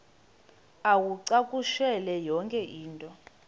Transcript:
uwacakushele yonke into